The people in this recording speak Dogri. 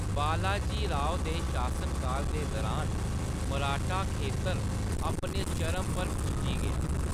बालाजी राव दे शासनकाल दे दरान, मराठा खेतर अपने चरम पर पुज्जी गेआ।